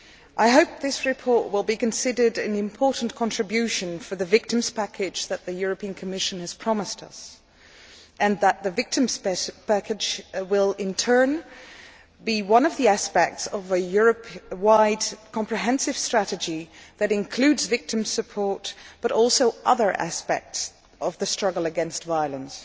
I hope this report will be considered an important contribution to the victims' package that the Commission has promised us, and that the victims' package will, in turn, be one of the aspects of a Europe wide comprehensive strategy that includes victim support, but also other aspects of the struggle against violence.